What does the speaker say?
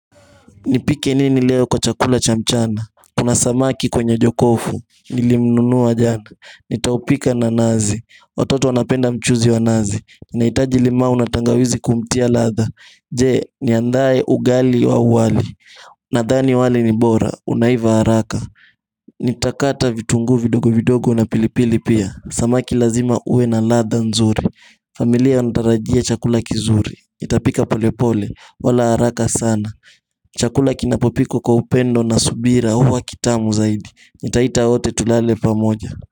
Nipike nini leo kwa chakula cha mchana Kuna samaki kwenye jokofu Nilimnunua jana Nitaupika na nazi watoto wanapenda mchuzi wa nazi Nahitaji limau na tangawizi kumtia ladha Je, niandae ugali au wali Nadhani wali ni bora, unaiva haraka Nitakata vitunguu vidogo vidogo na pilipili pia Samaki lazima huwe na ladha nzuri familia inatarajia chakula kizuri nitapika polepole, wala haraka sana Chakula kinapo pikwa kwa upendo na subira huwa kitamu zaidi nitaita wote tulale pamoja.